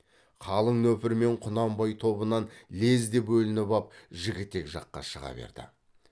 қалың нөпірмен құнанбай тобынан лезде бөлініп ап жігітек жаққа шыға берді